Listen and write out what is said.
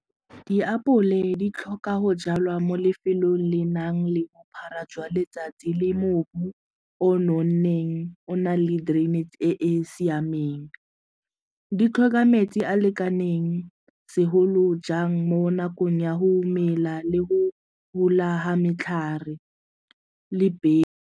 Diapole di tlhoka go jalwa mo lefelong le nang le bophara jwa letsatsi le mobu o nonneng o nang le drainage e e siameng, di tlhoka metsi a lekaneng segolo jang mo nakong ya go mela le go gola ga metlhare le .